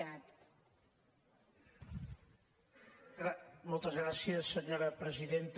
moltes gràcies senyora presidenta